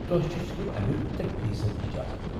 تۄہہ چُھ صِرف امیُك ترٛے فی صد اجازت